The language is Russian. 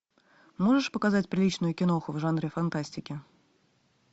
можешь показать приличную киноху в жанре фантастики